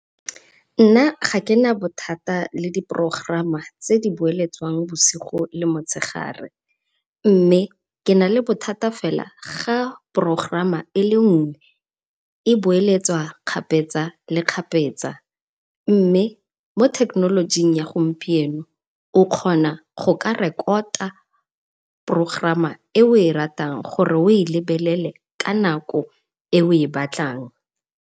Nna gakena bothata le diprogerama tse di boeletswang bosigo le motshegare, mme ke na bothata fela fa progerama ele nngwe e boeletswa kgapetsa le kgapetsa, mme mo thekenolojing ya gompieno o kgona goka rekota progerama e o e ratang gore o e lebelele ka nako e o ebatlang.